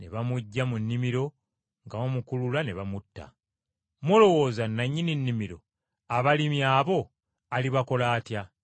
Ne bamuggya mu nnimiro nga bamukulula ne bamutta. “Mulowooza nannyini nnimiro abalimi abo alibakola atya?